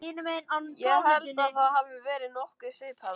Ég held að það hafi verið nokkuð svipað og